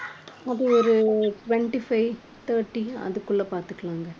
அது ஒரு twenty-five thirty அதுக்குள்ள பார்த்துக்கலாம்ங்க.